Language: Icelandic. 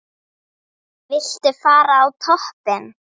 Viltu fara á toppinn?